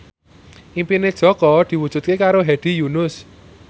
impine Jaka diwujudke karo Hedi Yunus